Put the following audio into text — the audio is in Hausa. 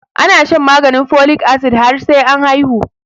Ana shan maganin folic acid har sai an haihu